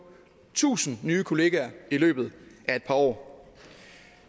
tusind nye kollegaer i løbet af par år